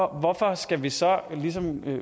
hvorfor skal vi så